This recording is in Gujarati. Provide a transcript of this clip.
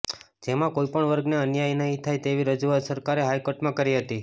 જેમા કોઈ પણ વર્ગને અન્યાય નહીં થાય તેવી રજૂઆત સરકારે હાઈકોર્ટમાં કરી હતી